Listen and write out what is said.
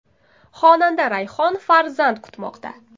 Xonanda Rayhon farzand kutmoqda.